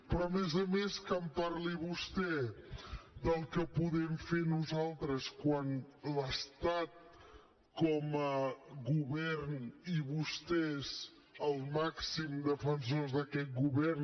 però a més a més que en parli vostè del que podem fer nosaltres quan l’estat com a govern i vostès els màxims defensors d’aquest govern